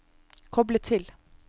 koble til